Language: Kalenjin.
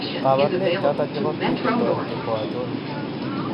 kabarunaik choton chebo Pili torti ko achon